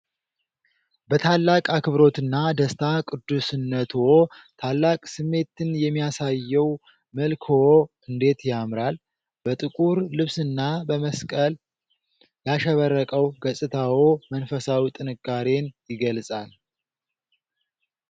በታላቅ አክብሮትና ደስታ ቅዱስነትዎ ! ታላቅ ስሜትን የሚያሳየው መልክዎ እንዴት ያምራል! በጥቁር ልብስና በመስቀል ያሸበረቀው ገጽታዎ መንፈሳዊ ጥንካሬን ይገልጻል !